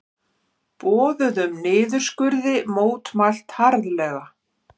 Boðuðum niðurskurði mótmælt harðlega